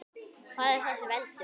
Hvað er það sem veldur?